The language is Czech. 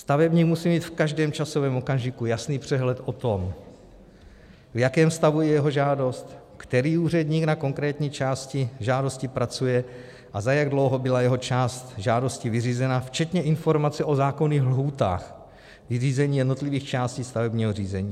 Stavebník musí mít v každém časovém okamžiku jasný přehled o tom, v jakém stavu je jeho žádost, který úředník na konkrétní části žádosti pracuje a za jak dlouho byla jeho část žádosti vyřízena, včetně informace o zákonných lhůtách vyřízení jednotlivých částí stavebního řízení.